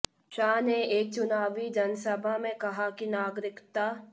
शाह ने एक चुनावी जनसभा में कहा कि नागरिकता